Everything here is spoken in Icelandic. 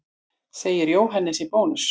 Segir Jóhannes í Bónus.